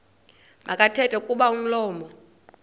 makathethe kuba umlomo